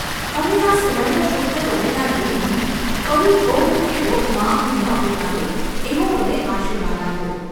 ‘હવે આ સુવર્ણશુદ્ધ બનેલા દેહને ફરી ભોગ કે રોગમાં હું ન ઉતારું એવો મને આશીર્વાદ આપો.